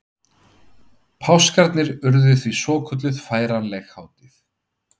Páskarnir urðu því svokölluð færanleg hátíð.